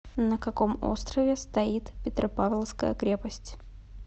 на каком острове стоит петропавловская крепость